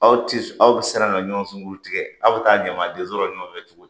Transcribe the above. Aw ti sɔn,ɔ aw be siran ka ɲɔgɔn sunguru tigɛ aw bi taa ɲamadenso la ɲɔgɔnfɛ cogo di ?